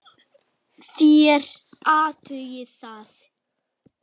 Þér athugið það.